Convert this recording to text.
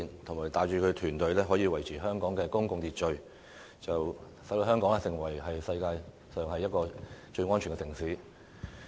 他帶領他的團體維持香港的公共秩序，使香港成為世界上最安全的城市之一。